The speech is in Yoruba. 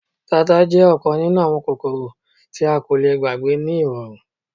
Tata jẹ ọkan ninu awọn kokoro ti a ko le gbagbe ni irọrun